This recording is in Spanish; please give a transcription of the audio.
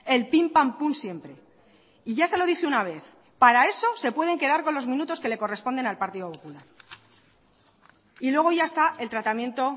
el pim pam pum siempre y ya se lo dije una vez para eso se pueden quedar con los minutos que le corresponden al partido popular y luego ya está el tratamiento